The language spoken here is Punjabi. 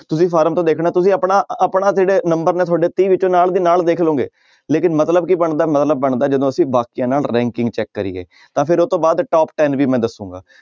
ਤੁਸੀਂ ਫਾਰਮ ਤੋਂ ਦੇਖਣਾ ਤੁਸੀਂ ਆਪਣਾ ਆਪਣਾ ਫਿਰ ਨੰਬਰ ਮੈਂ ਤੁਹਾਡੇ ਤੀਹ ਵਿੱਚੋਂ ਨਾਲ ਦੀ ਨਾਲ ਦੇਖ ਲਓਗੇ ਲੇਕਿੰਨ ਮਤਲਬ ਕੀ ਬਣਦਾ, ਮਤਲਬ ਬਣਦਾ ਜਦੋਂ ਅਸੀਂ ਬਾਕੀਆਂ ਨਾਲ ranking check ਕਰੀਏ ਤਾਂ ਫਿਰ ਉਹ ਤੋਂ ਬਾਅਦ top ten ਵੀ ਮੈਂ ਦੱਸਾਂਗਾ।